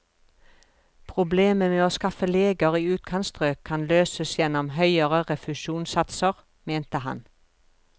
Problemet med å skaffe leger i utkantstrøk kan løses gjennom høyere refusjonssatser, mente han.